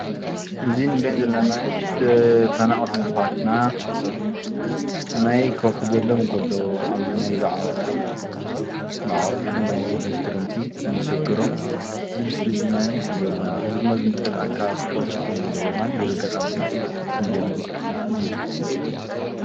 እዚ እንሪኦ ዘለና ማይ ተፈናቀልቲ አሕዋትና ማይ ከውሕጀሎም ከሎ አብዚ ናይዚ ዝዓቆብሉ መዕቆቢኦም ማይ ውሕጅ ክረምቲ ከም ዘሸገሮም እዚ ምስሊ ድማኒ ይሕብረልና ። እዚ ድማ ዝምልከቶ አካል ክፈትሖ ከም ዘለዎ ድማኒ በዚ አጋጣም እዚ ክንገልፅ ንፈቱ።